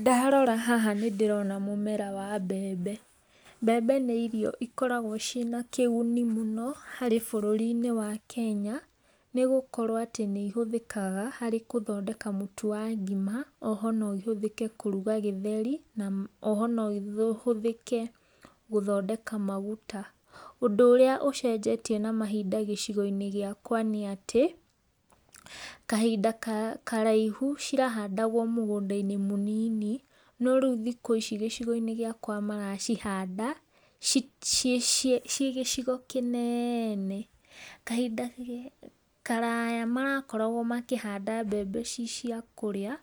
Ndarora haha nĩ ndĩrona mũmera wa mbembe, mbembe nĩ irio ikoragwo cina kĩgũni mũno harĩ bũrũri inĩ wa Kenya nĩ gũkorwo atĩ nĩ ihũthĩkaga harĩ gũthondeka mũtũ wa ngĩma oho no ihũthĩke kũrũga gĩtheri na oho no ĩhũthĩke gũthondeka magũta. Ũndũ ũrĩa ũcenjetĩe na mahĩnda gĩcigo inĩ gĩkĩ gĩakwa nĩ atĩ, kahĩnda karaihũ cirahandagwa mũgũnda inĩ mũnini no rĩũ thĩkũ ici gĩcigo inĩ gĩakwa maracihanda cie cie gĩcĩgo kĩnene. Kahinda karaya marakoragwo makĩhanda mbembe ci cia kũrĩa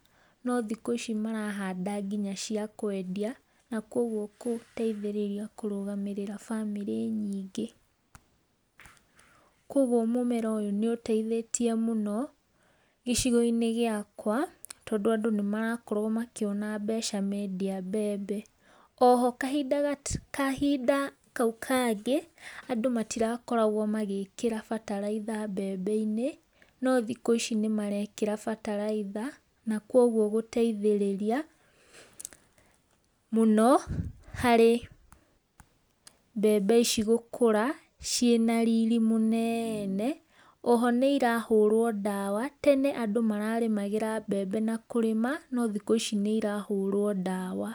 no thikũ ici marahanda ngĩnya cia kũendĩa na kũogwo gũteithirĩria gũrũgamĩrĩra bamĩri nyĩnge. Kwogwo mũmera ũyũ nĩ ũteĩthetĩe mũno gĩcigo inĩ gĩakwa tondũ andũ nĩ maragĩkorwo makĩona mbeca mendĩa mbembe, oho kahinda kahinda kaũ kangĩ andũ matĩrakoragwo magĩĩkĩra batalaĩtha mbembe inĩ no thikũ ici nĩmaraekera batalaĩtha na kũogwo kũteĩthĩrĩria mũno harĩ mbembe ici gũkũra cina riri mũnene oho nĩ irahũrwo dawa tene andũ mararĩmagĩra mbembe na kũrĩma no thikũ ici nĩ irahũrwo dawa.